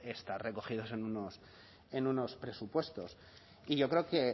estar recogidos en unos presupuestos y yo creo que